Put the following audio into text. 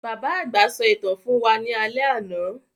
Bàbá àgbà sọ ìtàn fún wa ní alé àná.